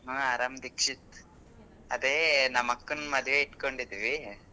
ಹಾ ಆರಾಮ್ ದೀಕ್ಷಿತ್ ಅದೆ ನಮ್ ಅಕ್ಕನ್ ಮದ್ವೆ ಇಟ್ಕೊಂಡಿದ್ವಿ.